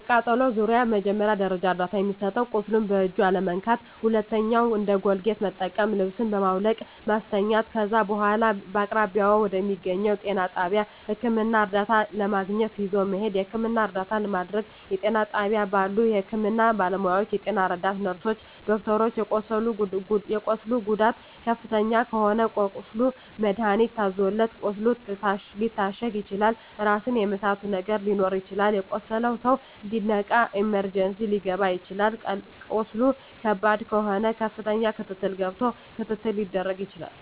በቃጠሎ ዙሪያ መጀመሪያ ደረጃ እርዳታ የሚሰጠዉ ቁስሉን በእጅ አለመንካት ሁለተኛዉ እንደ ኮልጌት መጠቀም ልብሱን በማዉለቅ ማስተኛት ከዛ በኋላ በአቅራቢያዎ በሚገኘዉ ጤና ጣቢያ ህክምና እርዳታ ለማግኘት ይዞ መሄድ የህክምና እርዳታ ማድረግ በጤና ጣቢያ ባሉ የህክምና ባለሞያዎች ጤና ረዳት ነርስሮች ዶክተሮች የቁስሉ ጉዳት ከፍተኛ ከሆነ ለቁስሉ መድሀኒት ታዞለት ቁስሉ ሊታሸግ ይችላል ራስን የመሳት ነገር ሊኖር ይችላል የቆሰለዉ ሰዉ እንዲነቃ ኢመርጀንሲ ሊከባ ይችላል ቁስሉ ከባድ ከሆነ ከፍተኛ ክትትል ገብቶ ክትትል ሊደረግ ይችላል